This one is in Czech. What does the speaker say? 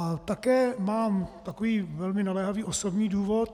A také mám takový velmi naléhavý osobní důvod.